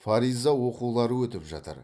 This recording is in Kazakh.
фариза оқулары өтіп жатыр